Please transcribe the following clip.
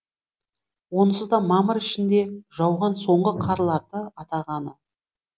онысы да мамыр ішінде жауған соңғы қарларды атағаны